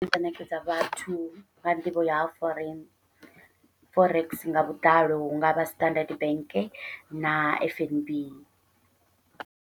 Inga ṋekedza vhathu nga nḓivho ya ha foreign forex nga vhuḓalo hungavha Standard Bank na F_N_B.